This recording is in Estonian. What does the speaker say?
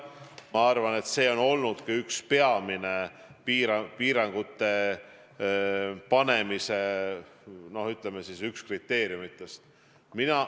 Ma arvan, et see on olnud ka üks peamisi piirangute panemise kriteeriume.